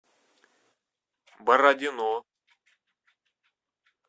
бородино